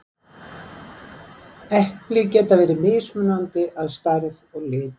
Epli geta verið mismunandi að stærð og lit.